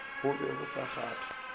bo be bo sa kgahle